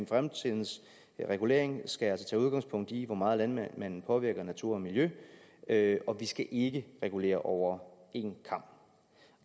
fremtidens regulering skal altså tage udgangspunkt i hvor meget landmanden påvirker natur og miljø og vi skal ikke regulere over en kam